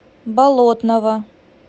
болотного